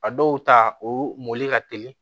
A dɔw ta o mori ka teli